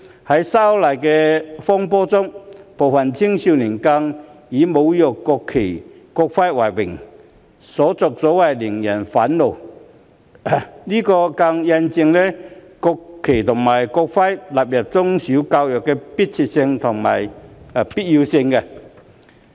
在修例風波中，部分青少年更是以侮辱國旗和國徽為榮，所作所為令人憤怒，這更印證了將國旗及國徽納入中小學教育的迫切性和必要性。